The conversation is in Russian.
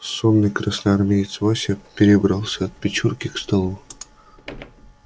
сонный красноармеец вася перебрался от печурки к столу